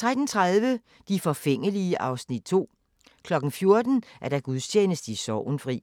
13:30: De forfængelige (Afs. 2) 14:00: Gudstjeneste i Sorgenfri